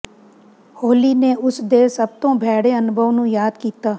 ਹੋਲੀ ਨੇ ਉਸ ਦੇ ਸਭ ਤੋਂ ਭੈੜੇ ਅਨੁਭਵ ਨੂੰ ਯਾਦ ਕੀਤਾ